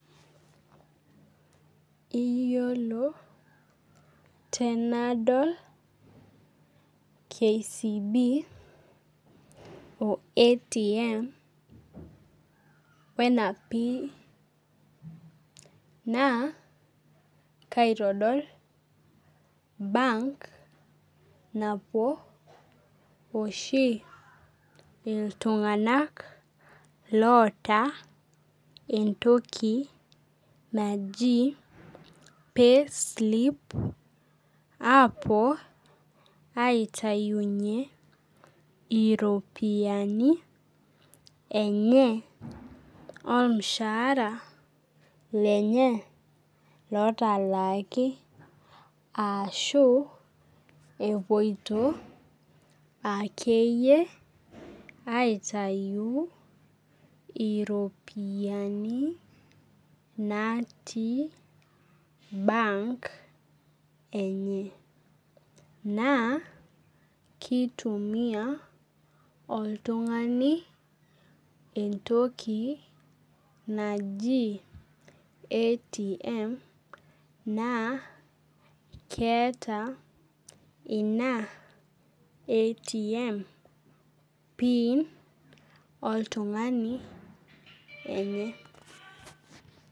Iyiolo tenadol KCB o ATM, wenapi naa, kaitadol bank napuo oshi iltung'anak loota entoki naji payslip apuo aitayunye iropiyiani enye ormushaara lenye lotalaaki, ashu epoito akeyie aitayu iropiyiani natii bank enye. Naa, kitumia oltung'ani entoki naji ATM, naa keeta ina ATM pin oltung'ani enye.